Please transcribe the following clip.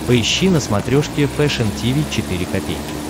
поищи на смотрешке фэшн ти ви четыре ка